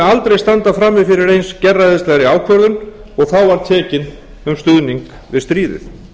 aldrei standa frammi fyrir eins gerræðislegri ákvörðun og þá var tekin um stuðning við stríðið